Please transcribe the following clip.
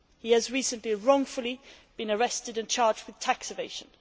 He has recently wrongfully been arrested and charged with tax evasion.